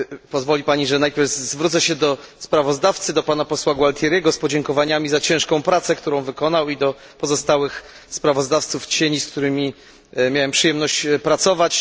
Pozwoli Pani, że najpierw zwrócę się do sprawozdawcy, Pana Posła Gualtieriego, z podziękowaniami za ciężką pracę, którą wykonał, i do pozostałych kontrsprawozdawców, z którymi miałem przyjemność pracować.